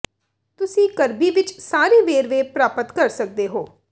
ਤੁਸੀਂ ਕਰਬੀ ਵਿਚ ਸਾਰੇ ਵੇਰਵੇ ਪ੍ਰਾਪਤ ਕਰ ਸਕਦੇ ਹੋ